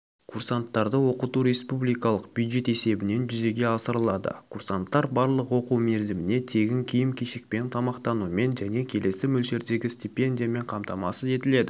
курсанттарды оқыту республикалық бюджет есебінен жүзеге асырылады курсанттар барлық оқу мерзіміне тегін киім-кешекпен тамақтанумен және келесі мөлшердегі стипендиямен қамтамасыз етіледі